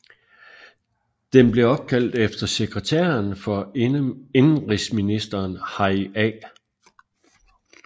Den blev opkaldt efter sekretæren for indenrigsministeren Harry A